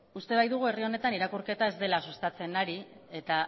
uste baitugu herri honetan irakurketa ez dela sustatzen ari eta